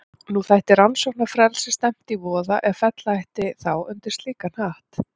Nú þætti rannsóknarfrelsi stefnt í voða ef fella ætti þá undir slíkan hatt.